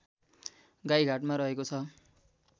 गाइघाटमा रहेकोछ